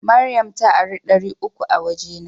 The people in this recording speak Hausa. Mariam ta ara dari uku a waje na.